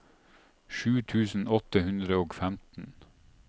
sju tusen åtte hundre og femten